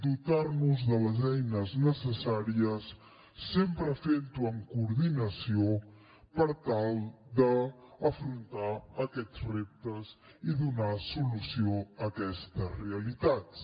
dotar nos de les eines necessàries sempre fent ho en coordinació per tal d’afrontar aquests reptes i donar solució a aquestes realitats